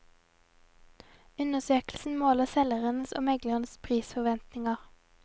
Undersøkelsen måler selgeres og megleres prisforventninger.